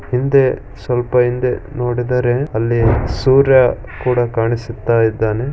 ಹಿಂದೆ ಸ್ವಲ್ಪ ಹಿಂದೆ ನೋಡಿದರೆ ಅಲ್ಲಿ ಸೂರ್ಯ ಕೂಡ ಕಾಣಿಸುತ್ತ ಇದ್ದಾನೆ.